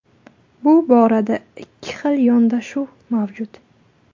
Bu borada ikki xil yondashuv mavjud.